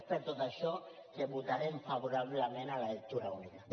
és per tot això que votarem favorablement a la lectura única